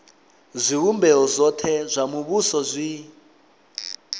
zwivhumbeo zwothe zwa muvhuso zwi